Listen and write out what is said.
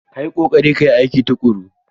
Ka yi ƙoƙari ka yi aiki tuƙuru!